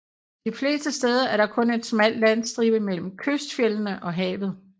De fleste steder er der kun en smal landstribe mellem kystfjeldene og havet